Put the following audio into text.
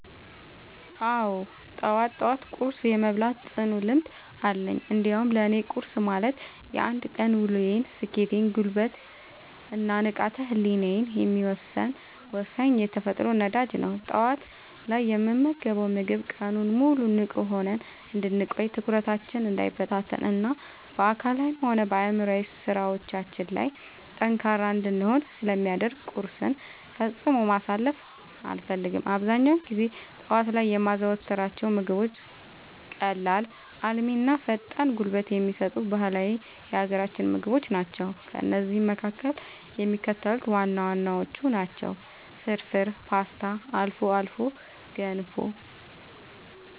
አዎ፣ ጠዋት ጠዋት ቁርስ የመብላት ጽኑ ልምድ አለኝ። እንዲያውም ለእኔ ቁርስ ማለት የአንድ ቀን ውሎዬን ስኬት፣ ጉልበት እና ንቃተ ህሊናዬን የሚወሰን ወሳኝ የተፈጥሮ ነዳጅ ነው። ጠዋት ላይ የምንመገበው ምግብ ቀኑን ሙሉ ንቁ ሆነን እንድንቆይ፣ ትኩረታችን እንዳይበታተን እና በአካላዊም ሆነ በአእምሯዊ ስራዎቻችን ላይ ጠንካራ እንድንሆን ስለሚያደርገን ቁርስን ፈጽሞ ማሳለፍ አልፈልግም። አብዛኛውን ጊዜ ጠዋት ላይ የማዘወትራቸው ምግቦች ቀላል፣ አልሚ እና ፈጣን ጉልበት የሚሰጡ ባህላዊ የሀገራችንን ምግቦች ናቸው። ከእነዚህም መካከል የሚከተሉት ዋና ዋናዎቹ ናቸው፦ ፍርፍር: ፖስታ: አልፎ አልፎ ገንፎ